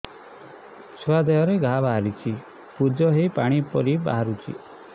ଛୁଆ ଦେହରେ ଘା ବାହାରିଛି ପୁଜ ହେଇ ପାଣି ପରି ବାହାରୁଚି